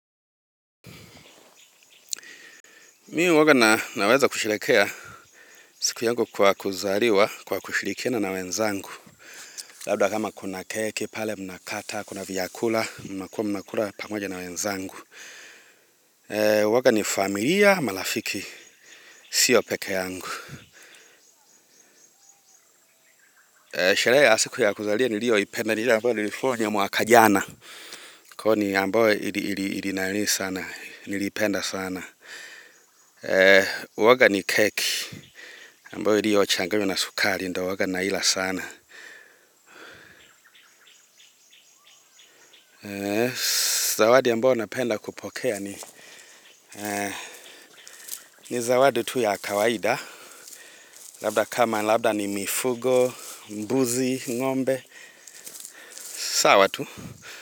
Mimi huwa naweza kushiriki siku yangu ya kuzaliwa kwa kushirikiana na wenzangu. Labda kama kuna keki pale mnakata, kuna vyakula mnakuwa mnakula pamoja na wenzangu huwa ni familia ama rafiki. Sio peke yangu sherehe ya siku ya kuzaliwa niliyoipenda ni ile ambayo nilifanya mwaka jana ambayo nilipenda sana huwa ni keki ambayo iliyochanganywa na sukari ndio huwa na ila sana. Zawadi ambayo napenda kupokea ni ni zawadi tu ya kawaida. Labda kama labda ni mifugo, mbuzi, ngombe. Sawa tu.